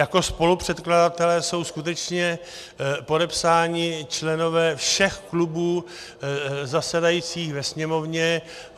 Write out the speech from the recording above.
Jako spolupředkladatelé jsou skutečně podepsáni členové všech klubů zasedajících ve Sněmovně.